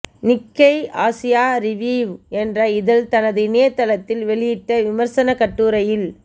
Nikkei Asia review என்ற இதழ் தனது இணையதளித்தில் வெளியிட்ட விமர்சனக் கட்டுரையில்